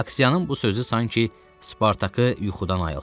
Aksiyanın bu sözü sanki Spartakı yuxudan ayıltdı.